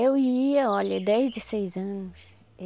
Eu ia, olha, desde seis anos.